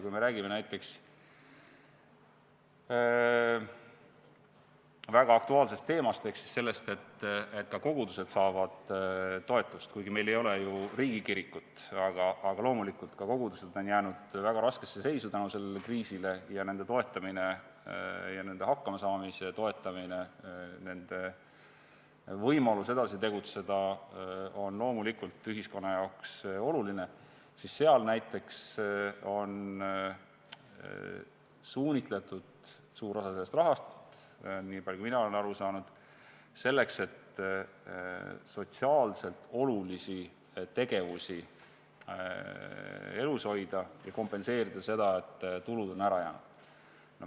Kui me räägime näiteks väga aktuaalsest teemast ehk sellest, et ka kogudused saavad toetust – kuigi meil ei ole ju riigikirikut, aga loomulikult, ka kogudused on jäänud väga raskesse seisu selle kriisi tõttu ning nende võimalus edasi tegutseda on ühiskonna jaoks oluline –, siis seal näiteks on suunitletud suur osa sellest rahast – niipalju, kui mina olen aru saanud – selleks, et sotsiaalselt olulisi tegevusi elus hoida ja kompenseerida seda, et tulud on ära jäänud.